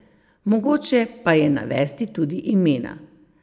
Mogoče pa je navesti tudi imena.